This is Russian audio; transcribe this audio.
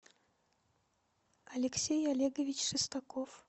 алексей олегович шестаков